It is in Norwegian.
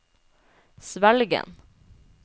Svelgen